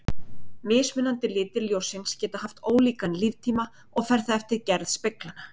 Mismunandi litir ljóssins geta haft ólíkan líftíma og fer það eftir gerð speglanna.